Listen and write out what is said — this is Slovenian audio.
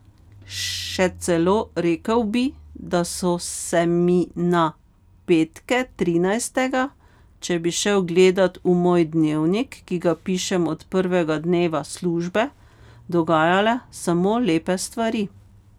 Še celo rekel bi, da so se mi na petke trinajstega, če bi šel gledat v moj dnevnik, ki ga pišem od prvega dneva službe, dogajale samo lepe stvari.